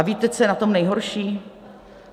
A víte, co je na tom nejhorší?